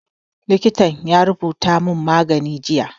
Likitan ya rubuta mun magani jiya